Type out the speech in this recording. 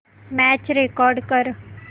match record कर